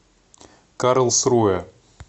карлсруэ